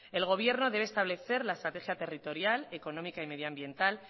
el gobierno debe establecer la estrategia territorial económica y medioambiental